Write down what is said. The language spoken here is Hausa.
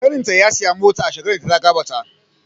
Ƙanin ta ya siya mota a shekarar da ta gabata.